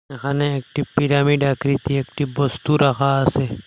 এখানে একটি পিরামিড আকৃতি একটি বস্তু রাখা আছে।